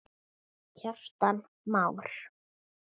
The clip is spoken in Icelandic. Kjartan Már.